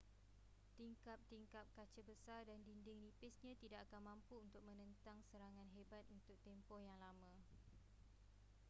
tingkap-tingkap kaca besar dan dinding nipisnya tidak akan mampu untuk menentang serangan hebat untuk tempoh yang lama